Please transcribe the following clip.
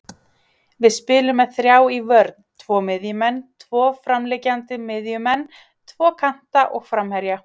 Við spilum með þrjá í vörn, tvo miðjumenn, tvo framliggjandi miðjumenn, tvo kanta og framherja.